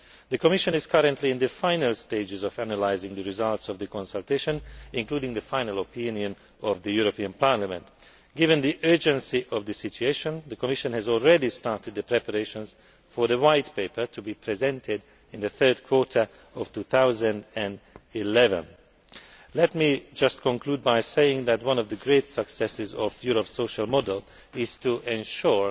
The Commission is currently in the final stages of analysing the results of the consultation, including the final opinion of the European Parliament. Given the urgency of the situation, the Commission has already started the preparations for the White Paper to be presented in the third quarter of 2011. Let me conclude by saying that one of the great successes of Europe's social model is to ensure